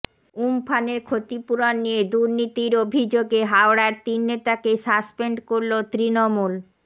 উমফানের ক্ষতিপূরণ নিয়ে দুর্নীতির অভিযোগে হাওড়ার তিন নেতাকে সাসপেন্ড করল তৃণমূল